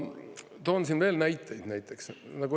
Ma toon siin veel näiteid.